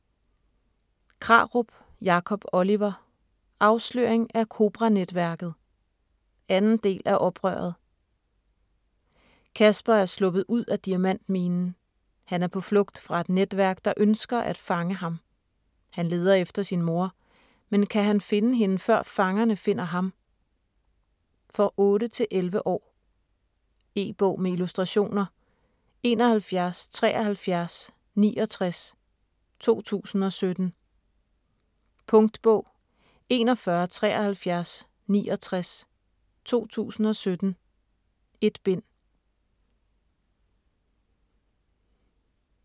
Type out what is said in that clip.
Krarup, Jacob Oliver: Afsløring af Kobranetværket 2. del af Oprøret. Casper er sluppet ud af diamantminen. Han er på flugt fra et netværk, der ønsker at fange ham. Han leder efter sin mor, men kan han finde hende, før fangerne fanger ham? For 8-11 år. E-bog med illustrationer 717369 2017. Punktbog 417369 2017. 1 bind.